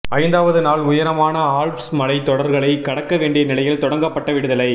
ஐந்தாவது நாள் உயரமான ஆல்ப்ஸ் மலைத் தொடர்களைக் கடக்க வேண்டிய நிலையில் தொடங்கப்பட்ட விடுதலை